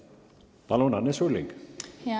Palun, Anne Sulling!